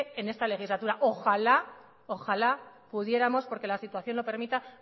en esta legislatura ojalá ojalá pudiéramos porque la situación lo permita